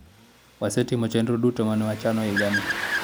wasetimo chenro duto mane wachano higa ni